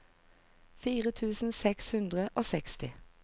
fire tusen seks hundre og seksti